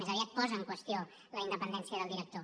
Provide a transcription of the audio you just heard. més aviat posa en qüestió la independència del director